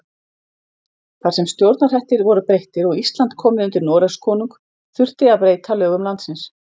Þar sem stjórnarhættir voru breyttir og Ísland komið undir Noregskonung þurfti að breyta lögum landsins.